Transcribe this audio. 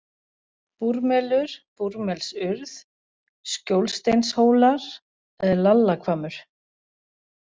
Búrmelur, Búrmelsurð, Skjólsteinshólar, Lallahvammur